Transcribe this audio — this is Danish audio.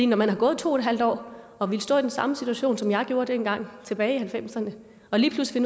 når man har gået to en halv år og ville stå i den samme situation som jeg gjorde dengang tilbage i nitten halvfemserne og lige pludselig